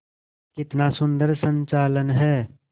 कितना सुंदर संचालन है